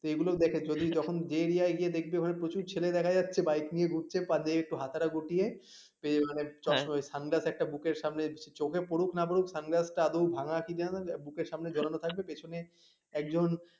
এইগুলো দেখে চলি তখন যে এরিয়া এ গিয়ে দেখবে ওখানে প্রচুর ছেলে দেখা যাচ্ছে বিকে নিয়ে ঘুরছে পাঞ্জাবির একটু হাতাটা গুড়িয়ে sunglass একটা বুকের সামনে সে চোখে পরুক না পরুক sunglass টা আদেও ভাঙ্গা কি না বুকের সামনে ঝোলানো থাকবে পেছোনে একজন,